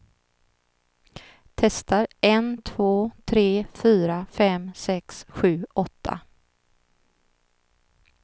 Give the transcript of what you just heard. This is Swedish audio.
Testar en två tre fyra fem sex sju åtta.